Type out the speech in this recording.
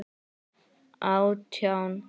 Átján ár.